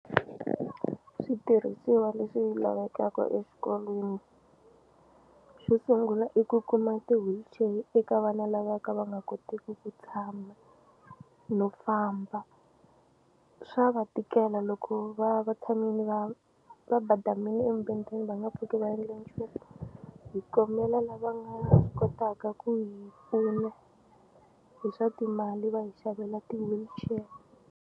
Switirhisiwa leswi lavekaka exikolweni xo sungula i ku kuma ti-wheelchair eka vana lava ka va nga koteki ku tshama no famba swa va tikela loko va va tshamini va va badamini emubedweni va nga pfuki va endle nchumu hi kombela lava nga kotaka ku hi pfuna hi swa timali va hi xavela ti-wheelchair.